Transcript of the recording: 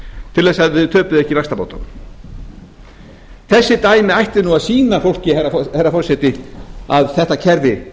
til þess að þau töpuðu ekki vaxtabótunum þessi dæmi ættu nú að sýna fólki herra forseti að þetta kerfi